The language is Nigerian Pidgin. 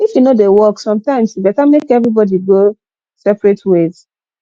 if e no dey work sometimes e better make everybody go separate ways